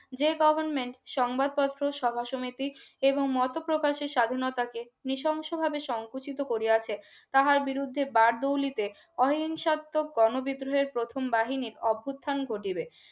যেই government সংবাদপত্র সভা সমিতি এবংমতো প্রকাশের স্বাধীনতাকে নৃশংসভাবে সংকুচিত করিয়াছে তাহার বিরুদ্ধে বারদৌলিতে অহিংসাত্মক গণ বিদ্রোহের প্রথম বাহিনীর অভ্যুর্থান ঘটিবে